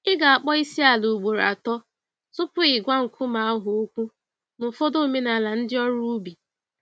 Ị ga akpọ Isiala ugboro atọ tupu ị gwa nkume ahụ okwu n'ụfọdụ omenala ndị ọrụ ubi